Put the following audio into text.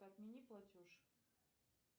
отмени платеж